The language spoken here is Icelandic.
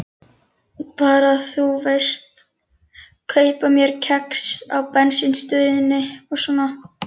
Bara, þú veist, kaupa mér kex á bensínstöðinni og svona.